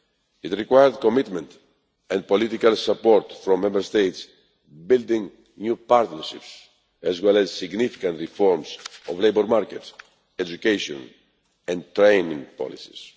It required commitment and political support from Member States and building new partnerships, as well as significant reforms of labour market, education and training policies.